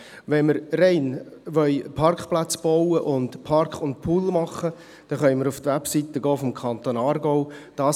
Wenn wir rein Parkplätze bauen und Park-and-Pool machen wollen, dann können wir auf die Webseite des Kantons Aargau gehen.